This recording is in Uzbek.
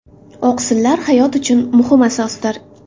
Oqsillar hayot uchun muhim asosdir.